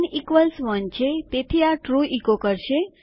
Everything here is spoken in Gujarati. ૧૧ છે તેથી આ ટ્રૂ ઇકો કરશે